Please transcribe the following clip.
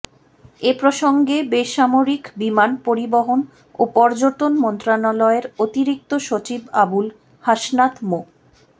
এ প্রসঙ্গে বেসামরিক বিমান পরিবহন ও পর্যটন মন্ত্রণালয়ের অতিরিক্ত সচিব আবুল হাসনাত মো